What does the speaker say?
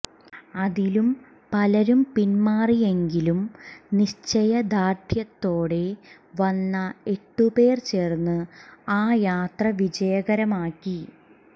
അതിലും പലരും പിന്മാറിയെങ്കിലും നിശ്ചയദാർഢ്യത്തോടെ വന്ന എട്ടുപേർ ചേർന്ന് ആ യാത്ര വിജയകരമാക്കി